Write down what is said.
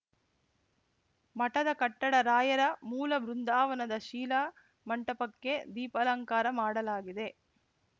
ಮಠದ ಕಟ್ಟಡ ರಾಯರ ಮೂಲಬೃಂದಾವನದ ಶೀಲಾಮಂಟಪಕ್ಕೆ ದೀಪಾಲಂಕಾರ ಮಾಡಲಾಗಿದೆ